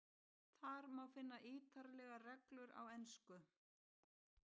Þar má finna ítarlegar reglur á ensku.